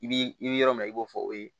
I b'i yɔrɔ min na i b'o fɔ o ye